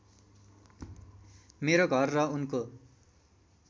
मेरो घर र उनको